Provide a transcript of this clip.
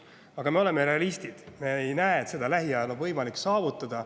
Aga me oleme realistid ja me ei näe, et seda lähiajal oleks võimalik saavutada.